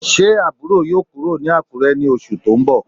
Se aburo yoo kuro ni Akure ni osu to nbo?